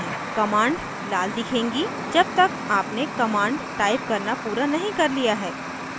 command लाल दिखेगी जब तक आपने command टाइप करना पूरा नहीं कर लिया है